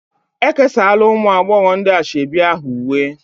E kesaala ụmụ agbọghọ ndị ashebi ahụ uwe